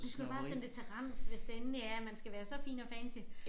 Du skal bare sende det til rens hvis det endelig er at man skal være så fin og fancy